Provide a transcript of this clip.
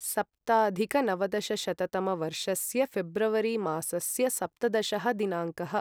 सप्ताधिकनवदशशततमवर्षस्य ऴेब्रवरि मासस्य सप्तदशः दिनाङ्कः